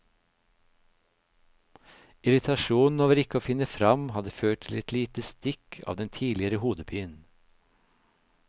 Irritasjonen over ikke å finne fram hadde ført til et lite stikk av den tidligere hodepinen.